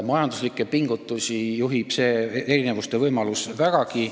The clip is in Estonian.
Majanduslikke pingutusi suunab see erinevuste võimalus vägagi.